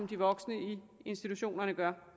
de voksne i institutionerne gør